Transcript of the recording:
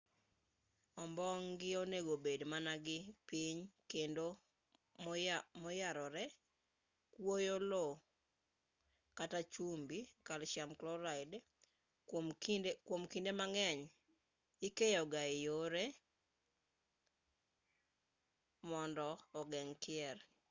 ombong' gi onego bed man gi piny kendo moyarore. kuoyo lowo kata chumbi kalsiam kloraid kwom kinde mang'eny ikeyo ga e yore mondo ogeng' kier